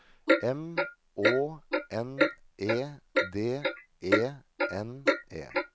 M Å N E D E N E